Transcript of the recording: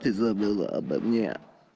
ты забыла обо мне